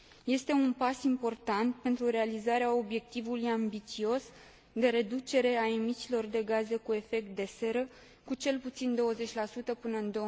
Este un pas important pentru realizarea obiectivului ambițios de reducere a emisiilor de gaze cu efect de seră cu cel puțin 20 până în